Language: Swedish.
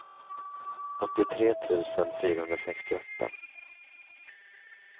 åttiotre tusen fyrahundrasextioåtta